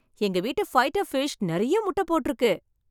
எங்க வீட்டு fighter fish நிறைய முட்டைபோட்டுருக்கு.